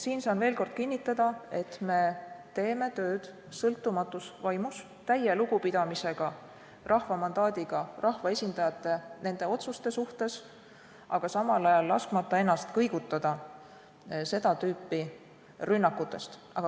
Siin saan veel kord kinnitada, et teeme oma tööd sõltumatus vaimus, täie lugupidamisega rahva mandaadiga rahvaesindajate ja nende otsuste vastu, samal ajal laskmata ennast kõigutada seda tüüpi rünnakutest.